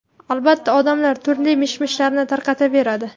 Albatta, odamlar turli mish-mishlarni tarqataveradi.